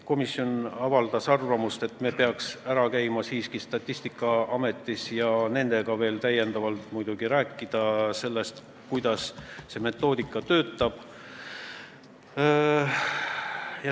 Komisjon avaldas arvamust, et me peaksime ära käima Statistikaametis ja nendega veel rääkima sellest, kuidas see metoodika töötab.